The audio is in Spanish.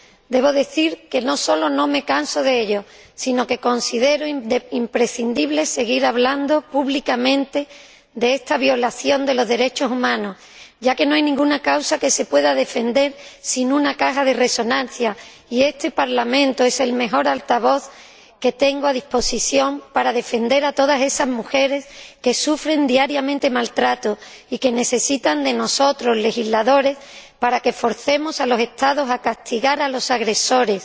Debo decir que no sólo no me canso de ello, sino que considero imprescindible seguir hablando públicamente de esta violación de los derechos humanos, ya que no hay ninguna causa que se pueda defender sin caja de resonancia, y este Parlamento es el mejor altavoz que tengo a mi disposición para defender a todas esas mujeres que sufren diariamente maltrato y que necesitan de nosotros, los legisladores, para que forcemos a los Estados a castigar a los agresores